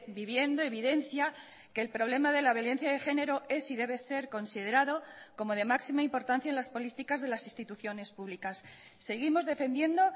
viviendo evidencia que el problema de la violencia de género es y debe ser considerado como de máxima importancia en las políticas de las instituciones públicas seguimos defendiendo